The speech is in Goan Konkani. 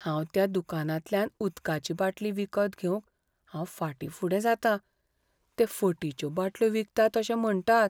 हांव त्या दुकानांतल्यान उदकाची बाटली विकती घेवंक हांव फाटीं फुडें जातां, ते फटीच्यो बाटल्यो विकताले अशें म्हण्टात.